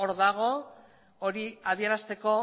hor dago hori adierazteko